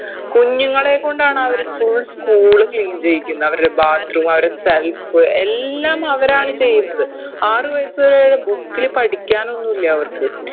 കുഞ്ഞുങ്ങളെ കൊണ്ടാണ് അവര് full school clean ചെയ്യിക്കുന്നെ അവരുടെ bathroom അവരുടെ self എല്ലാം അവരാണ് ചെയ്യുന്നത് ആറ് വയസ്സ് book ല് പഠിക്കാനൊന്നുല്ല അവർക്ക്